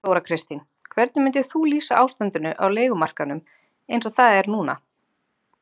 Þóra Kristín: Hvernig myndir þú lýsa ástandinu á leigumarkaðnum eins og það er núna?